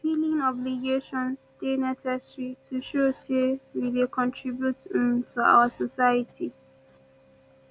filing obligations dey necessary to show say we dey contribute um to our society